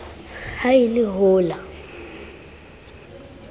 ha e le ho la